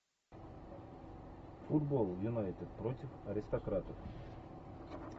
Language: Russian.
футбол юнайтед против аристократов